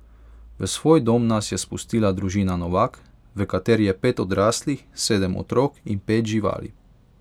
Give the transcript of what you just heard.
V svoj dom nas je spustila družina Novak, v kateri je pet odraslih, sedem otrok in pet živali ...